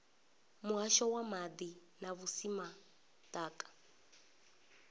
muhasho wa maḓi na vhusimama ḓaka